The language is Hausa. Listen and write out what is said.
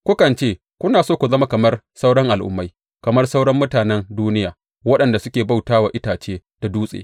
Kukan ce, Kuna so ku zama kamar sauran al’ummai, kamar sauran mutanen duniya, waɗanda suke bauta wa itace da dutse.